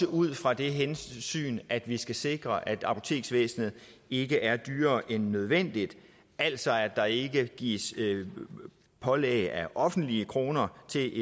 ud fra det hensyn at vi skal sikre at apoteksvæsenet ikke er dyrere end nødvendigt altså at der ikke mere gives pålæg af offentlige kroner til